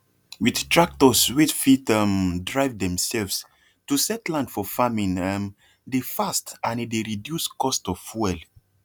with tractors wey fit um drive themselvesto set land for farming um dey fast and e dey reduce cost of fuel